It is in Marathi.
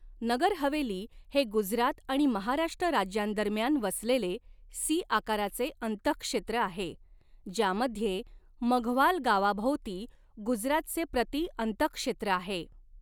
नगर हवेली हे गुजरात आणि महाराष्ट्र राज्यांदरम्यान वसलेले सी आकाराचे अंतहक्षेत्र आहे, ज्यामध्ये मघवाल गावाभोवती गुजरातचे प्रति अंतहक्षेत्र आहे.